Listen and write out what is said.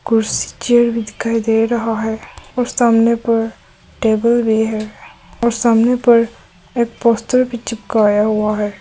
कुर्सी चेयर भी दिखाई दे रहा है और सामने पर टेबल भी है और सामने पर एक भी चिपकाया हुआ है।